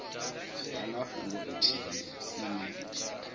vha na fhungo ithihi ine